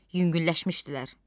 Yüngülləşmişdilər.